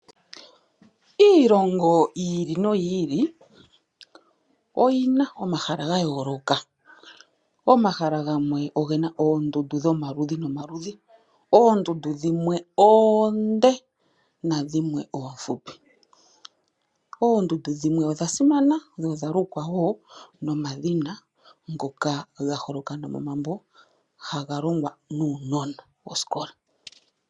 Iilongo yi ili no yi ili oyina omahala ga yooloka. Omahala gamwe oge na oondundu dhomaludhi nomaludhi, oondundu dhimwe oonde nadhimwe oofupi. Oondundu dhimwe odha simana nodha lukwa woo nomadhina ngoka ga holoka nomomambo ha ga longwa nuunona wosikola.